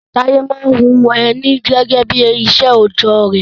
Taye maa n hun Eni gege bi isé ojo re